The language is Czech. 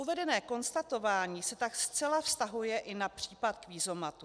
Uvedené konstatování se tak zcela vztahuje i na případ kvízomatů.